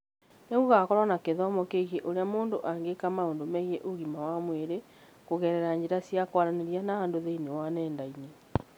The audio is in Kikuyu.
Nĩ gũgakorũo na gĩthomo kĩgiĩ ũrĩa mũndũ angĩka maũndũ megiĩ ũgima wa mwĩrĩ kũgerera njĩra cia kwaranĩria na andũ thĩinĩ wa nenda-inĩ.